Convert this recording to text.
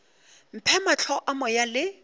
mphe mahlo a moya le